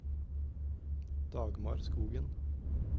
Dagmar Skogen